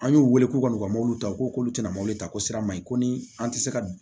An y'u wele k'u ka n'u ka mobiliw ta u k'olu tɛna mɔbili ta ko sira ma ɲi ko ni an tɛ se ka